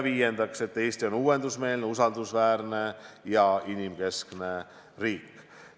Viiendaks, Eesti on uuendusmeelne, usaldusväärne ja inimkeskne riik.